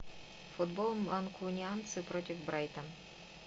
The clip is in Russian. футбол манкунианцы против брайтон